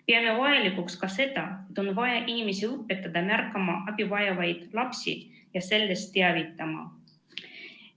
Peame vajalikuks ka seda, et inimesi õpetataks märkama abi vajavaid lapsi ja neist teavitama.